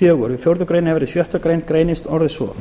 fjórða við fjórðu grein er verði sjöttu grein greinin orðist svo